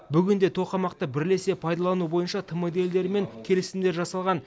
бүгінде тоқамақты бірлесе пайдалану бойынша тмд елдерімен келісімдер жасалған